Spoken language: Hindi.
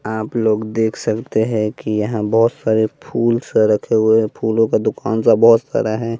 आप लोग देख सकते हैं कि यहाँ बहोत सारे फूल सा रखे हुए हैं फूलों का दुकान सा बहोत सारा है।